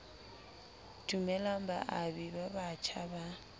dumellang baabi ba batjha ba